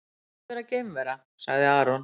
Pant vera geimvera, sagði Aron.